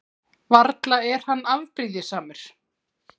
Varla er hann afbrýðisamur?